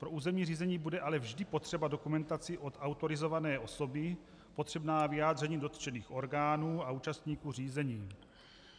Pro územní řízení bude ale vždy potřeba dokumentace od autorizované osoby, potřebná vyjádření dotčených orgánů a účastníků řízení.